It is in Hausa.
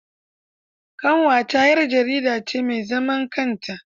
Ƙanwata 'yar jarida ce mai zaman kanta.